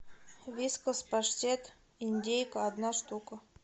вискас паштет индейка одна штука